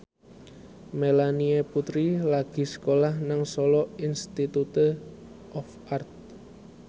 Melanie Putri lagi sekolah nang Solo Institute of Art